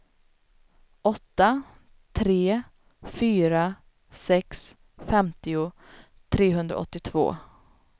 åtta tre fyra sex femtio trehundraåttiotvå